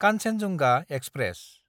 Kanchenjunga express